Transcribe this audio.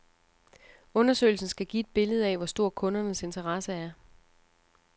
Undersøgelsen skal give et billede af, hvor stor kundernes interesse er.